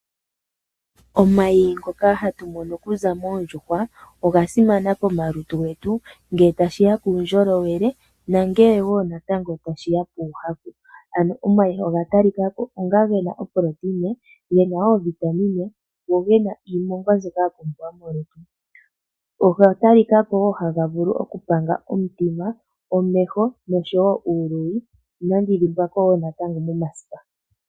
Omayi ngoka hatu mono okuza moondjuhwa, oga simana komalutu getu ngele tashiya puundjolowele nuuhaku. Ano omayi oga talikako gena oproteina, ovitamine, niimongwa mbyoka ya pumbiwa molutu. Ohaga vulu wo okupanga omutima, omeho, uuluyi nomasipa.